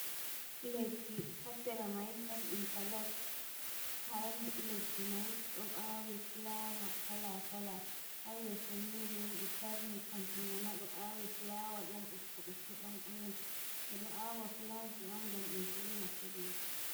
Leddi hasera mai don intalog, ha leddi mai ɗo awi fulawa kala kala, ha yeso ni bo ɗo tarni kanju maima ɗo awi flawa ɗom bokko bokko ɗon orench, nde ɗo awa fulaki on ngam ɓe vo'ina pellel.